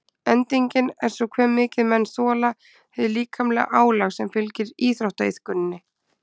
Endingin er svo hve mikið menn þola hið líkamlega álag sem fylgir íþróttaiðkuninni.